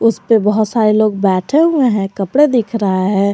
उसपे बहुत सारे लोग बैठे हुए है कपड़े दिख रहा है।